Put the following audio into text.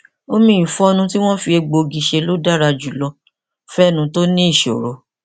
omi ìfọnu tí wọn fi egbòogi ṣe ló dára jùlọ fún ẹnu tó ní ìṣoro